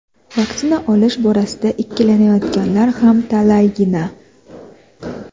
vaksina olish borasida ikkilanayotganlar ham talaygina.